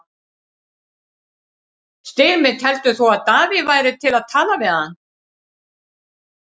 Styrmir, heldur þú að Davíð væri til í að tala við hann?